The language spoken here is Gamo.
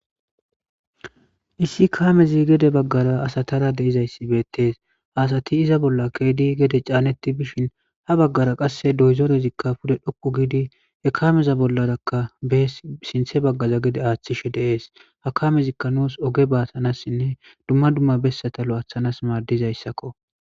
Issi kaamezi gede baggara asatara de'zayssi beettes haasati iza bolla keedi gede caaneti bishin ha baggara qasse dozerezikka pude dhoqqu giidi he kaameza bollaraka bees sinthe baggara gede aaththishe de'es ha kamezikka nuus oge batanasinne dumma dumma bessatalo aaththanas maadizayssakko.